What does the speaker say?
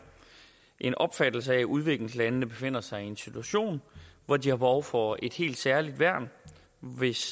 en opfattelse af at udviklingslandene befinder sig i en situation hvor de har behov for et helt særligt værn hvis